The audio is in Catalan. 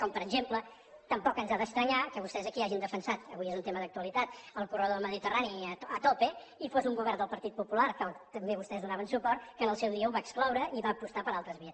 com per exemple tampoc ens ha d’estranyar que vostès aquí hagin defensat avui és un tema d’actualitat el corredor mediterrani a tope i fos un govern del partit popular que també vostès hi donaven suport que en el seu dia ho va excloure i va apostar per altres vies